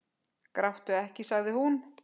Gráttu ekki, sagði hún.